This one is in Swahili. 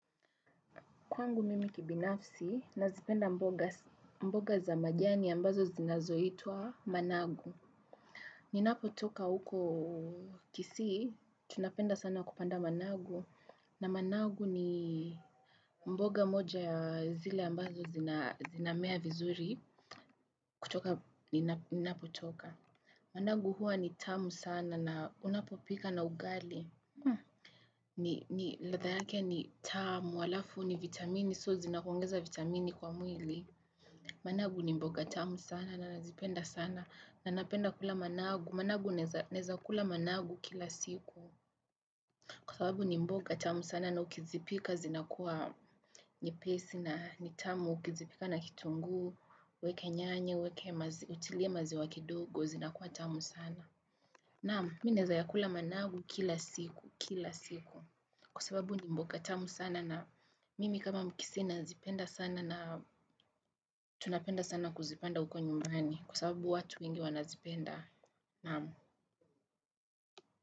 Kwangu mimi kibinafsi, nazipenda mboga za majani ambazo zinazo itwa managu. Ninapo toka huko kisii, tunapenda sana kupanda managu. Na managu ni mboga moja zile ambazo zinamea vizuri kutoka ninapo toka. Managu huwa ni tamu sana na unapo pika na ugali. Ni latha yake ni tamu, halafu ni vitamini, so zinakuongeza vitamini kwa mwili. Managu ni mboga tamu sana na nazipenda sana. Nanapenda kula managu. Managu naweza kula managu kila siku. Kwa sababu ni mboga tamu sana na ukizipika zinakuwa nyepesi na ni tamu ukizipika na kitunguu. Uweke nyanya, uweke utilie maziwa kidogo, zinakuwa tamu sana. Naam, minaweza ya kula managu kila siku, kila siku. Kwa sababu ni mboga tamu sana na mimi kama mkisii nazipenda sana na tunapenda sana kuzipanda huko nyumbani kwa sababu watu wengi wanazipenda.